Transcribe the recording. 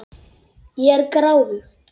Ég er gráðug.